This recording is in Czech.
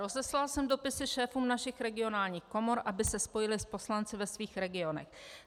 Rozeslal jsem dopisy šéfům našich regionálních komor, aby se spojili s poslanci ve svých regionech.